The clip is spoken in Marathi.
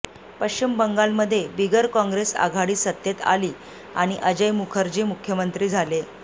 पश्चिम बंगालमध्ये बिगरकॉंग्रेस आघाडी सत्तेत आली आणि अजय मुखर्जी मुख्यमंत्री झाले